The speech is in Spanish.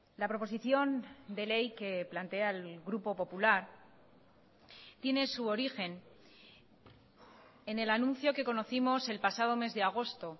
la proposición de ley que plantea el grupo popular tiene su origen en el anuncio que conocimos el pasado mes de agosto